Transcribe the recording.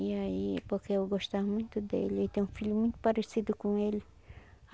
E aí, porque eu gostava muito dele, e tem um filho muito parecido com ele.